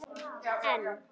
En